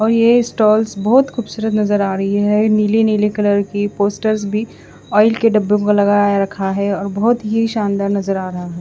और ये स्टॉल्स बोहोत खुबसूरत नज़र आ रही है नीले नीले कलर की पोस्टर्स भी ओइल के डब्बो को लगाया रखा है और बोहोत ही शानदार नज़र आरा है।